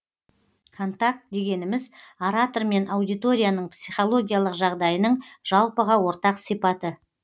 контакт дегеніміз оратор мен аудиторияның психологиялық жағдайының жалпыға ортақ сипаты